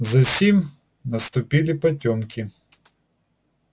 засим наступили потёмки